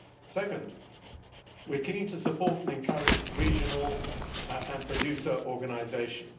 Second, we are keen to support and encourage regional and producer organisations.